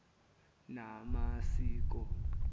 namasiko